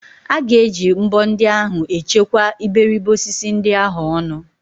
A ga-eji mbọ ndị ahụ echekwa iberibe osisi ndị ahụ ọnụ.